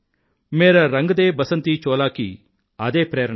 మేరా రంగ్ దే బసంతీ చోలా కి అదే ప్రేరణ